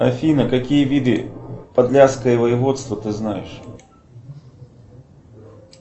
афина какие виды подляское воеводство ты знаешь